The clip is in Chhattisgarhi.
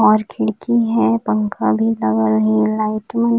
और खिड़की है पंखा भी लगा हुआ है लाइट मन--